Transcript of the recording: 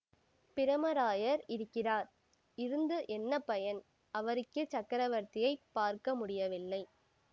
பிரமராயர் இருக்கிறார் இருந்து என்ன பயன் அவருக்கே சக்கரவர்த்தியை பார்க்க முடியவில்லை